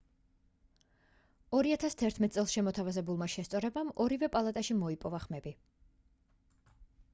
2011 წელს შემოთავაზებულმა შესწორებამ ორივე პალატაში მოიპოვა ხმები